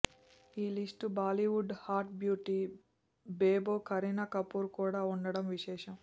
ఈ list Bollywood hot beauty Bebo Kareena Kapoor కూడా ఉండటం విశేషం